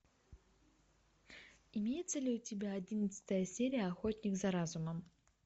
имеется ли у тебя одиннадцатая серия охотник за разумом